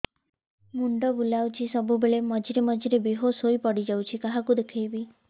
ମୁଣ୍ଡ ବୁଲାଉଛି ସବୁବେଳେ ମଝିରେ ମଝିରେ ବେହୋସ ହେଇ ପଡିଯାଉଛି କାହାକୁ ଦେଖେଇବି